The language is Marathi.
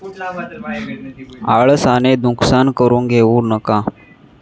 आळसाने नुकसान करून घेऊ नका.